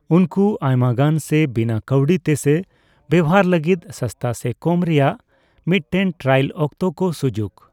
ᱩᱱᱠᱩ ᱟᱭᱢᱟᱜᱟᱱ ᱜᱮ ᱵᱤᱱᱟᱹ ᱠᱟᱹᱣᱰᱤ ᱛᱮ ᱥᱮ ᱵᱮᱣᱦᱟᱨ ᱞᱟᱹᱜᱤᱫ ᱥᱟᱥᱛᱟ ᱥᱮ ᱠᱚᱢ ᱨᱮᱭᱟᱜ ᱢᱤᱫᱴᱮᱱ ᱴᱨᱟᱭᱟᱞ ᱚᱠᱛᱚ ᱠᱚ ᱥᱩᱡᱩᱠ ᱾